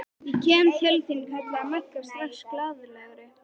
Ég kem til þín kallaði Magga strax glaðlegri.